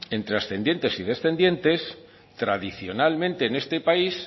entre ascendientes y descendientes tradicionalmente en este país